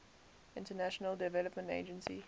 international development agency